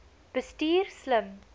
bestuur slim